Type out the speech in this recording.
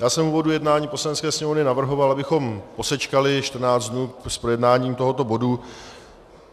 Já jsem v úvodu jednání Poslanecké sněmovny navrhoval, abychom posečkali 14 dnů s projednáním tohoto bodu.